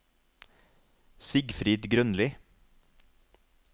Sigfrid Grønli